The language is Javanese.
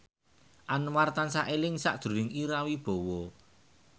Anwar tansah eling sakjroning Ira Wibowo